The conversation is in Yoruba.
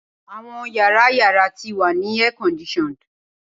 Awọn yara yara ti wa ni air conditioned